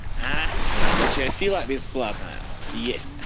ах рабочая сила бесплатная есть